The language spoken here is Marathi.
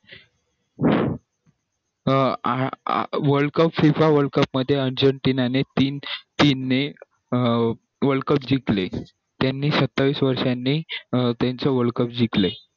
अं world cup FIFA world cup मध्ये आजीनं उद्दीनाने team ने world cup जिंकले त्यानी सत्तावीस वर्षा नि अं त्याचे world cup जिंकले